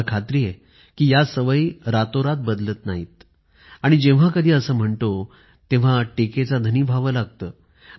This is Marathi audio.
मला खात्री आहे कि या सवयी रातोरात बदलत नाहीत आणि जेव्हा कधी असे म्हणतो तेव्हा टीकेचा धनी व्हावे लागते